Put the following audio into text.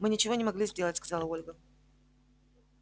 мы ничего не могли сделать сказала ольга